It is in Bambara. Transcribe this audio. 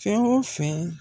Fɛn wo fɛn